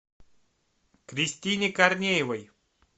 кристине корнеевой